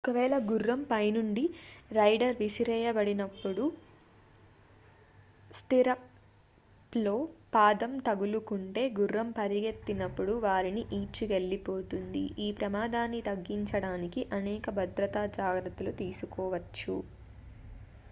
ఒక వేళ గుర్రం పైనుండి రైడర్ విసిరేయబడినప్పుడు స్టిర్రప్లో పాదం తగులుకుంటే గుర్రం పరిగెత్తినప్పుడు వారిని ఈడ్చికెళ్లిపోతుంది ఈ ప్రమాదాన్ని తగ్గించడానికి అనేక భద్రతా జాగ్రత్తలు తీసుకోవచ్చు